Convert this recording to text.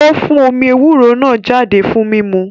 Ó fún omí ewúro náà jáde fún mímu